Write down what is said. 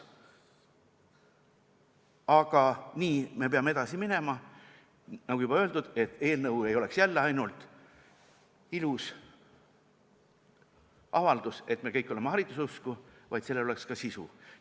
Aga nii me peame edasi minema, nagu juba öeldud, et eelnõu ei oleks jälle ainult ilus avaldus, kuidas me kõik oleme hariduseusku, vaid et sellel oleks ka sisu.